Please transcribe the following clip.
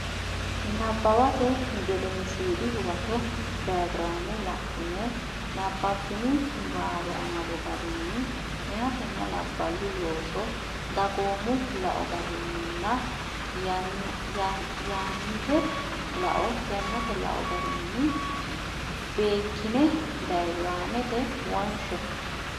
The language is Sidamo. Nabbawate Gedensiidi Huwato diyaagiraame la ine nabbabbini niwaawe amado garinni meyatenna labballu looso dagoomu lao garinninna yannitte lao garinni beekkine diyaagiraamete wonshe.